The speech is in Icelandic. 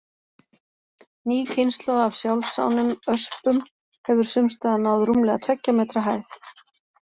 Ný kynslóð af sjálfsánum öspum hefur sums staðar náð rúmlega tveggja metra hæð.